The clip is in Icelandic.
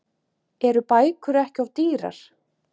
Eru bækur ekki of dýrar?